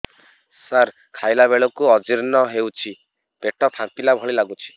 ସାର ଖାଇଲା ବେଳକୁ ଅଜିର୍ଣ ହେଉଛି ପେଟ ଫାମ୍ପିଲା ଭଳି ଲଗୁଛି